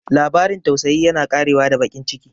Labarin tausayi yana ƙarewa da baƙin ciki.